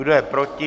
Kdo je proti?